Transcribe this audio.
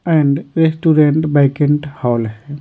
And restaurant banquet hall है।